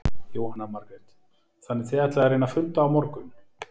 Jóhanna Margrét: Þannig þið ætlið að reyna að funda á morgun?